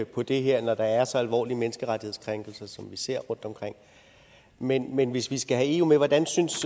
på det her når der er så alvorlige menneskerettighedskrænkelser som vi ser rundtomkring men men hvis vi skal have eu med hvordan synes